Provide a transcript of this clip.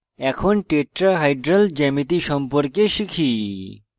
এরপর tetrahedral geometry সম্পর্কে শিখি